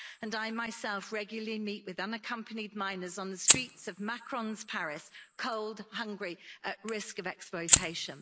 I myself regularly meet with unaccompanied minors on the streets of Macron's Paris cold, hungry and at risk of exploitation.